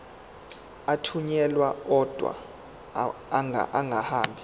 athunyelwa odwa angahambi